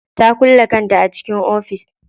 Ta kulle kanta a cikin ofis.